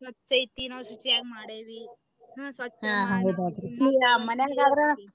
ಸ್ವಚೈತಿ ನಾವು ಶುಚಿಯಾಗಿ ಮಾಡೇವಿ.